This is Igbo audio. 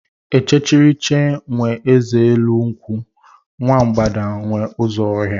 Ichekiriche nwe eze elu nkwụ, nwa mbgada nwe ụzọ ọhịa.